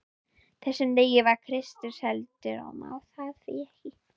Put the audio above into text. þessum degi var Kristur seldur og má það því ekki.